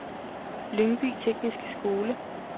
Lyngby Tekniske Skole